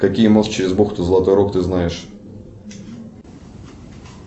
какие мост через бухту золотой рог ты знаешь